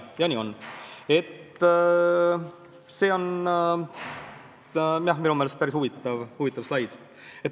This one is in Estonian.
Minu meelest on see päris huvitav slaid.